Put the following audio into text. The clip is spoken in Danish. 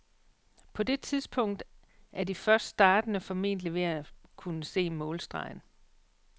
På det tidspunkt er de først startende formentlig ved at kunne se målstregen.